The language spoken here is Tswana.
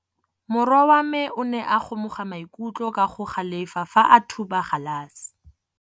Morwa wa me o ne a kgomoga maikutlo ka go galefa fa a thuba galase.